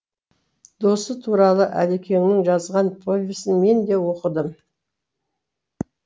досы туралы әлекеңнің жазған повесін мен де оқыдым